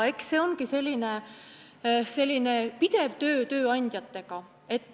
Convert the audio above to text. See ongi selline pidev töö tööandjatega.